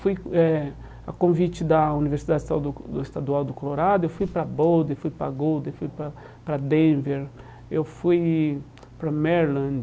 Fui eh a convite da Universidade Estadu Estadual do Colorado, eu fui para Boulder, fui para Goulder, fui para para Denver, eu fui para Maryland.